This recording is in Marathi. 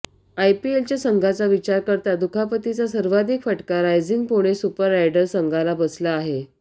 आयपीएलच्या संघांचा विचार करता दुखापतीचा सर्वाधिक फटका रायझिंग पुणे सुपर रायडर संघाला बसला आहे